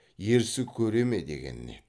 ерсі көре ме дегені еді